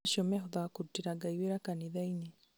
acio mehothaga kũrutĩra Ngai wĩra kanithainĩ